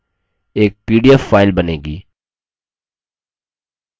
एक pdf file बनेगी